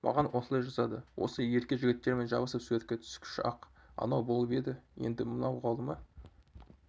маған осылай жазады осы ерке жігіттермен жабысып суретке түскіш-ақ анау болып еді енді мынау қалды ма